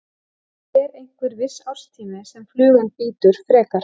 Er einhver viss árstími sem flugan bítur frekar?